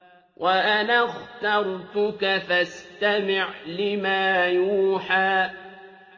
وَأَنَا اخْتَرْتُكَ فَاسْتَمِعْ لِمَا يُوحَىٰ